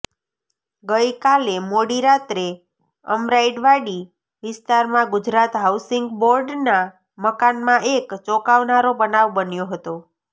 ગઈકાલે મોડી રાત્રે અમરાઈવાડી વિસ્તારમાં ગુજરાત હાઉસીંગ બોર્ડના મકાનમાં એક ચોંકાવનારો બનાવ બન્યો હતો